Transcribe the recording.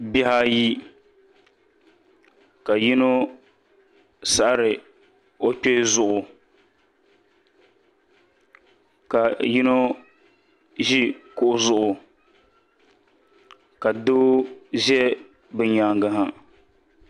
Bihi ayi ka yino saɣari o kpee zuɣu ka yino ʒi kuɣu zuɣu ka doo ʒɛ bi nyaangi ha